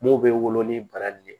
M'o bɛ wolo ni bara nin de ye